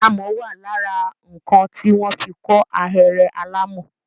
Amọ̀ wà lára nǹkan tí wọ́n fi kọ́ ahéré alàmọ̀.